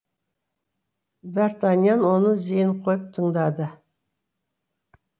д артаньян оны зейін қойып тыңдады